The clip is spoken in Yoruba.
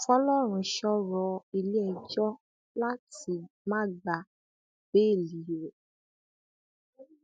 fọlọrunṣọ rọ ilé ẹjọ láti má gba béèlì rẹ